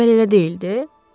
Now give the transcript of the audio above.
Əvvəl elə deyildi?